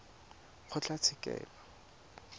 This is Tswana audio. kgotlatshekelo